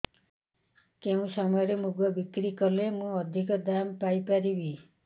କେଉଁ ସମୟରେ ମୁଗ ବିକ୍ରି କଲେ ମୁଁ ଅଧିକ ଦାମ୍ ପାଇ ପାରିବି